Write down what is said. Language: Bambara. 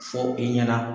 Fɔ i ɲɛna